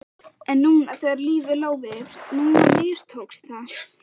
En núna þegar lífið lá við, núna mistókst það!